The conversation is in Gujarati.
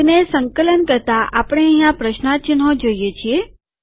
તેને સંકલન કરતા આપણે અહિયાં પ્રશ્નાર્થ ચિન્હો જોઈએ છીએ